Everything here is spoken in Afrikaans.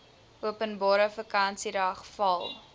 openbare vakansiedag val